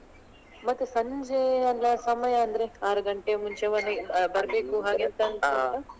ಮತ್ತೆ ಸಂಜೆ ಎಲ್ಲ ಸಮಯ ಅಂದ್ರೆ ಆರ್ ಗಂಟೆಯ ಮುಂಚೆ ಮನೆ~ ಬರ್ಬೇಕು ಹಾಗೆಂತಾದ್ರು ?